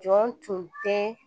Jɔn tun tɛ